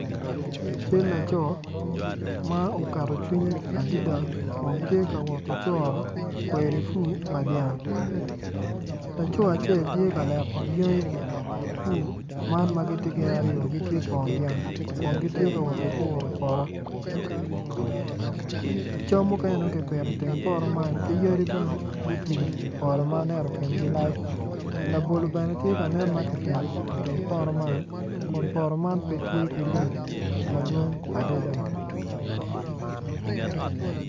Cal laco ma oketo cwinye adada kun tye ka woti coro kweri pur pa dyang laco acel tye ka leko dyangi pur man ma gitye gin aryo gitye twon dyang kun gitye ka woti puro poto cam mukene dong kipito iteng poto man ki yadi bene gutwi ipoto ma aneno kingi lac labolo bene tye ka nen ma kipito iteng poto man kun poto man pe tye ki lum madwong adada.